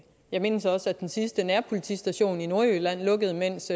jeg mindes også at den sidste nærpolitistation i nordjylland lukkede mens